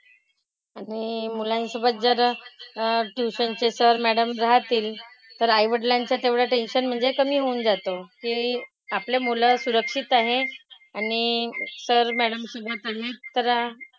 आणि मुलांसोबत जर अह tuition चे sir, madam राहतील तर आईवडिलांचं तेवढं tension म्हणजे कमी होऊन जातं. की आपली मुलं सुरक्षित आहेत. आणि sir, madam सुद्धा